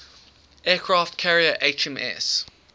aircraft carrier hms